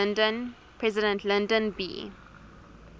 president lyndon b